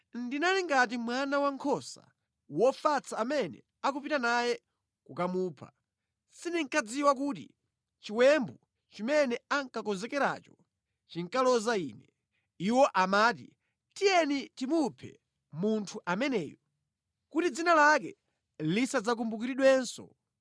Ndinali ngati mwana wankhosa wofatsa amene akupita naye kukamupha; sindinkadziwa kuti chiwembu chimene ankakonzekeracho chinkaloza ine. Iwo amati: “Tiyeni timuphe munthu ameneyu kuti dzina lake lisadzakumbukiridwenso.”